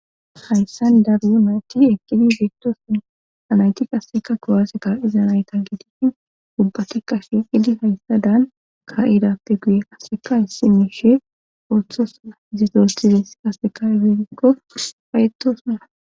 hayssan daru nayti ekkidi beettoson anayti qasseka kowaasse ka7iza nayta gidishin ubbatekka she qidi hayssa daan ka7idappe guye haseka hayssi mishe orthosa zidosides kaseka gerikko fayetosuna